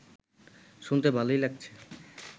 শুনতে ভালোই লাগছে